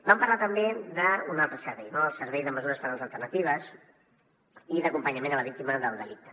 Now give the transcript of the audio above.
vam parlar també d’un altre servei el servei de mesures penals alternatives i d’acompanyament a la víctima del delicte